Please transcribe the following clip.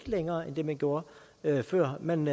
længere end det man gjorde før man